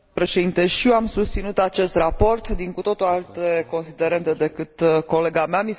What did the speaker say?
Și eu am susținut acest raport, din cu totul alte considerente decât colega mea.